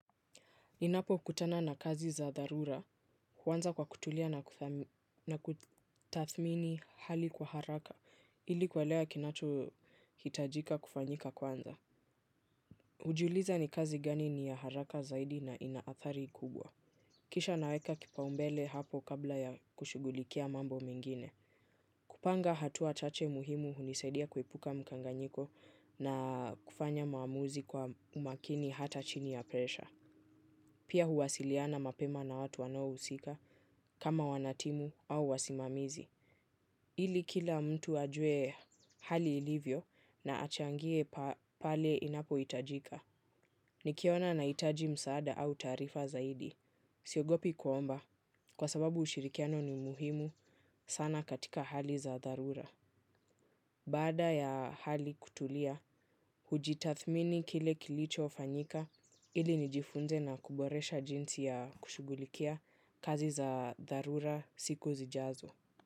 Ninapokutana na kazi za dharura, huanza kwa kutulia na kutathmini hali kwa haraka, ili kuelewa kinachohitajika kufanyika kwanza. Hujuliza ni kazi gani ni ya haraka zaidi na inaathari kubwa. Kisha naweka kipaumbele hapo kabla ya kushugulikia mambo mengine. Kupanga hatua chache muhimu hunisadia kuepuka mkanganyiko na kufanya maamuzi kwa umakini hata chini ya presha. Pia huwasiliana mapema na watu wanaohusika kama wanatimu au wasimamizi. Ili kila mtu ajue hali ilivyo na achangie pale inapo hitajika. Nikiona na itaji msaada au tarifa zaidi. Siogopi kuomba kwa sababu ushirikiano ni muhimu sana katika hali za dharura. Baada ya hali kutulia kujitadhmini kile kilichofanyika ili nijifunze na kuboresha jinsi ya kushughulikia kazi za dharura siku zijazo.